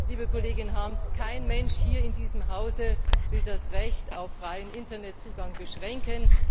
Liebe Kollegin Harms, kein Mensch in diesem Hause will das Recht auf freien Internetzugang beschränken.